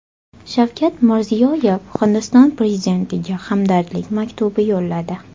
Shavkat Mirziyoyev Hindiston prezidentiga hamdardlik maktubi yo‘lladi.